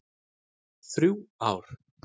Þrjú ár.